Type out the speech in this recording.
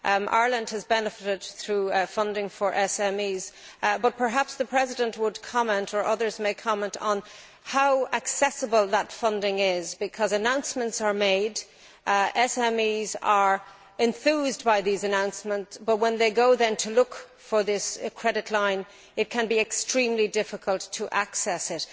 Ireland has benefited, through funding for SMEs, but perhaps the President would comment or others may comment on how accessible that funding is, because announcements are made and SMEs are enthused by these announcements, but when they go to look for the credit line, it can be extremely difficult to access it.